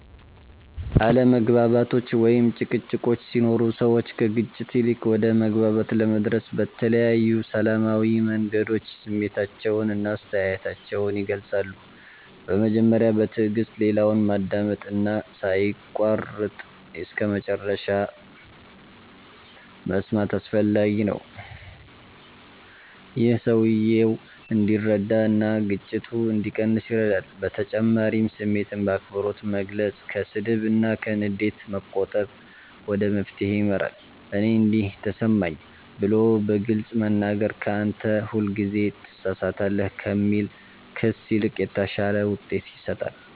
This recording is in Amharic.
አለመግባባቶች ወይም ጭቅጭቆች ሲኖሩ ሰዎች ከግጭት ይልቅ ወደ መግባባት ለመድረስ በተለያዩ ሰላማዊ መንገዶች ስሜታቸውን እና አስተያየታቸውን ይገልጻሉ። በመጀመሪያ በትዕግስት ሌላውን ማዳመጥ እና ሳይቋረጥ እስከመጨረሻ መስማት አስፈላጊ ነው። ይህ ሰውየው እንዲረዳ እና ግጭቱ እንዲቀንስ ይረዳል በተጨማሪም ስሜትን በአክብሮት መግለጽ፣ ከስድብ እና ከንዴት መቆጠብ ወደ መፍትሄ ይመራል። “እኔ እንዲህ ተሰማኝ” ብሎ በግልጽ መናገር ከ “አንተ ሁልጊዜ ትሳሳታለህ” ከሚል ክስ ይልቅ የተሻለ ውጤት ይሰጣል።